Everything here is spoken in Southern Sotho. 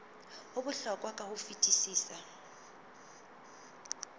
ho bohlokwa ka ho fetisisa